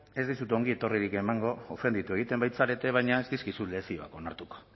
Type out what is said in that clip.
ez dizut ongietorririk emango ofenditu egiten baitzarete baina ez dizkizut lezioak onartuko